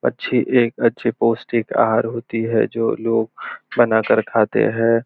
अच्छी एक अच्छी पौष्टिक आहार होती है जो लोग बना कर खाते हैं।